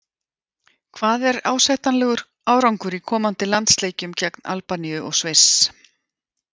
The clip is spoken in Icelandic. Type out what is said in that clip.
Hvað er ásættanlegur árangur í komandi landsleikjum gegn Albaníu og Sviss?